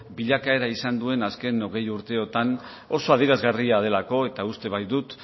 bilakaeran izan duen azken hogei urteotan oso adierazgarria delako eta uste baitut